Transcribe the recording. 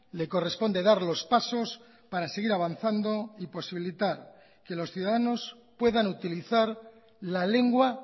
le corresponde dar los pasos para seguir avanzando y posibilitar que los ciudadanos puedan utilizar la lengua